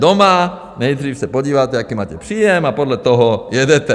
Doma se nejdřív podíváte, jaký máte příjem, a podle toho jedete.